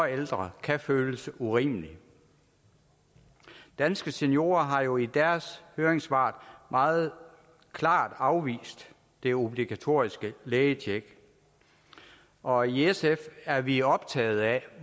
ældre kan føles urimelig danske seniorer har jo i deres høringssvar meget klart afvist det obligatoriske lægetjek og i sf er vi optagede af